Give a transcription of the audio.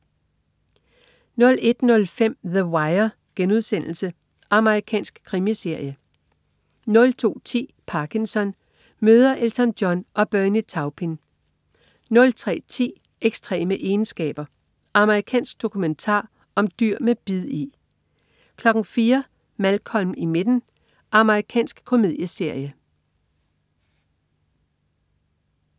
01.05 The Wire.* Amerikansk krimiserie 02.10 Parkinson. Møder Elton John og Bernie Taupin 03.10 Ekstreme egenskaber. Amerikansk dokumentar om dyr med bid i! 04.00 Malcolm i midten. Amerikansk komedieserie